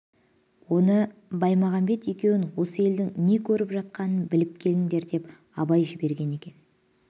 оны баймағамбет екеуін осы елдің не көріп жатқанын біліп келіндер деп абай жіберген екен